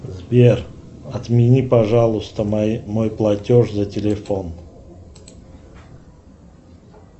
сбер отмени пожалуйста мой платеж за телефон